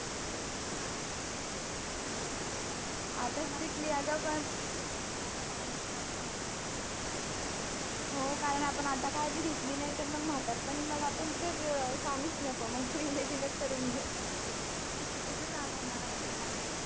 आता strictly पण आता पाऊस लाँच लागणार हो कारण पण आता काळजी घेतली नाही तर म्हातारीपाणी आपण तर सांगूच नको तू imagine याच करून घे आपले हात दुखतायत